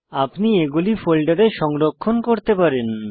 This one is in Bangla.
আপনি এগুলি ফোল্ডারে সংরক্ষণ করতে পারেন